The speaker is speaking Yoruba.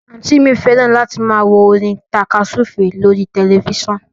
Àǹtí i mi fẹ́ràn láti máa wo orin tàka súfèé lórí tẹ̀lifísàn